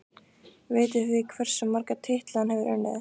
Vitið þið hversu marga titla hann hefur unnið?